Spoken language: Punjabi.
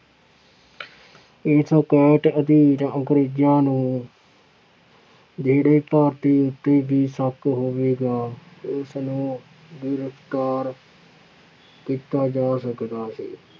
ਇਸ ਅਕੈਟ ਅਧੀਨ ਅੰਗਰੇਜ਼ਾਂ ਨੂੰ ਜਿਹੜੇ ਭਾਰਤੀ ਉੱਤੇ ਵੀ ਸ਼ੱਕ ਹੋਵੇਗਾ ਉਸਨੂੰ ਗ੍ਰਿਫ਼ਤਾਰ ਕੀਤਾ ਜਾ ਸਕਦਾ ਸੀ।